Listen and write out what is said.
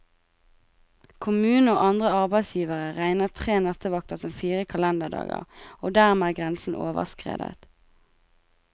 Kommunen og andre arbeidsgivere regner tre nattevakter som fire kalenderdager, og dermed er grensen overskredet.